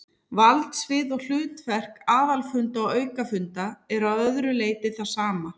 Valdsvið og hlutverk aðalfunda og aukafunda er að öðru leyti það sama.